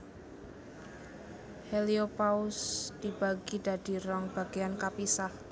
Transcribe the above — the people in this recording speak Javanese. Heliopause dibagi dadi rong bagéan kapisah